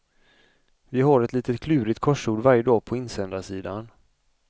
Vi har ett litet klurigt korsord varje dag på insändarsidan.